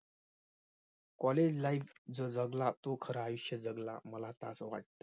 college life जो जगला तो खरा आयुष्य जगला. मला असं वाटतं.